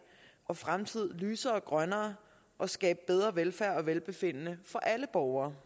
og fremtid lysere og grønnere og skabe bedre velfærd og velbefindende for alle borgere